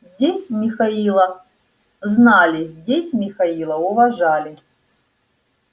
здесь михаила знали здесь михаила уважали